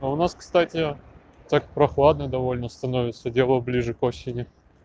а у нас кстати так прохладно довольно становится дело ближе к осени